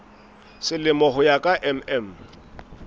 selemo ho ya ka mm